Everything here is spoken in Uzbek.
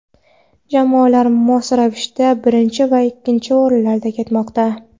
Jamoalar mos ravishda birinchi va ikkinchi o‘rinlarda ketmoqda.